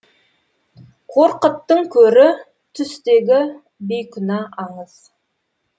қорқыттың көрі түстегі бейкүнә аңыз